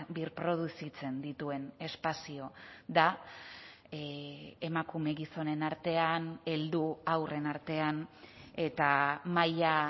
birproduzitzen dituen espazio da emakume gizonen artean heldu haurren artean eta maila